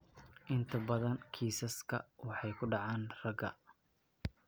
Inta badan kiisaska waxay ku dhacaan ragga.